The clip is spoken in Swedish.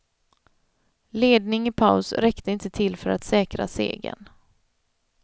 Ledning i paus räckte inte till för att säkra segern.